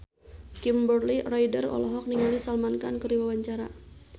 Kimberly Ryder olohok ningali Salman Khan keur diwawancara